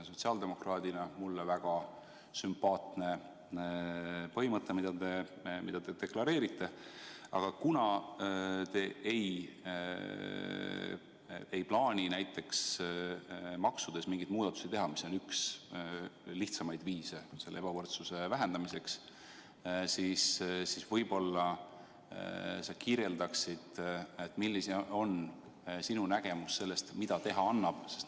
Sotsiaaldemokraadina on see mulle väga sümpaatne põhimõte, mida te deklareerite, aga kuna te ei plaani näiteks maksudes mingeid muudatusi teha, mis oleks üks lihtsamaid viise ebavõrdsuse vähendamiseks, siis võib-olla sa kirjeldaksid, milline on sinu nägemus sellest, mida teha annab.